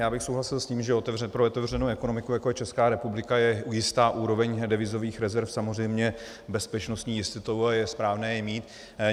Já bych souhlasil s tím, že pro otevřenou ekonomiku, jako je Česká republika, je jistá úroveň devizových rezerv samozřejmě bezpečnostní jistotou a je správné je mít.